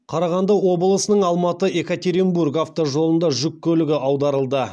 қарағанды облысының алматы екатеринбург автожолында жүк көлігі аударылды